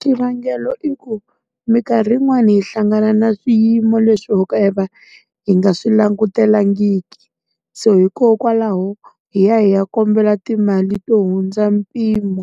Xivangelo i ku minkarhi yin'wani hi hlangana na swiyimo leswi ho ka hi nga, hi nga swi langutelangiki. So hikokwalaho hi ya hi ya kombela timali to hundza mpimo.